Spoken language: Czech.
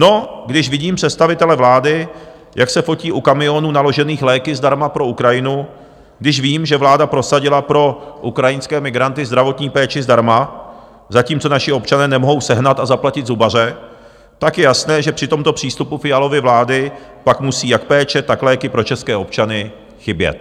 No, když vidím představitele vlády, jak se potí u kamionů naložených léky zdarma pro Ukrajinu, když vím, že vláda prosadila pro ukrajinské migranty zdravotní péči zdarma, zatímco naši občané nemohou sehnat a zaplatit zubaře, tak je jasné, že při tomto přístupu Fialovy vlády pak musí jak péče, tak léky pro české občany chybět.